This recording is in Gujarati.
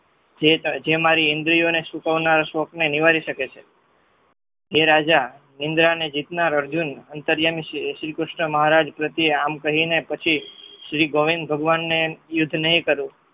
જે મારી ઈન્દ્રી ઓને સુકાવનાર નિવારી શકે છે જે રાજા ઇન્દ્ર ને જીતનાર અર્જુન અન્તયામી છે શ્રી કૃષ્ણ મહારાજે પ્રત્યરે આમ કહીને પછી શ્રી ગોવિંદ ભગવનને યુદ્ધ નહિ કરવું